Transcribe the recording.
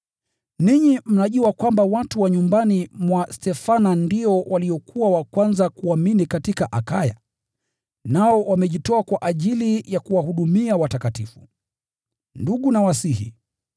Ninyi mnajua kwamba watu wa nyumbani mwa Stefana ndio waliokuwa wa kwanza kuamini katika Akaya, nao wamejitoa kwa ajili ya kuwahudumia watakatifu. Ndugu nawasihi,